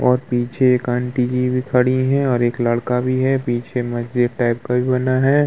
और पीछे एक आंटी जी भी खड़ी हैं और एक लड़का भी है। पीछे मस्जिद टाइप का भी बना है।